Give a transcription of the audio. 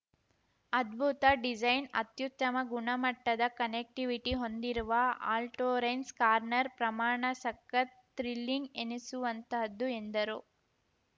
ಅದ್ಭುತ ಡಿಸೈನ್‌ ಅತ್ಯುತ್ತಮ ಗುಣಮಟ್ಟದ ಕನೆಕ್ಟಿವಿಟಿ ಹೊಂದಿರುವ ಆಲ್ಟೋರೆನ್ಸ್ ಕಾರ್ನರ್ ಪ್ರಮಾಣ ಸಖತ್‌ ಥ್ರಿಲಿಂಗ್‌ ಎನಿಸುವಂಥದ್ದು ಎಂದರು